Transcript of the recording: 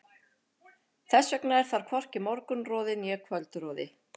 Þess vegna er þar hvorki morgunroði né kvöldroði.